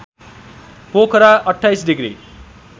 Pokhara २८ degree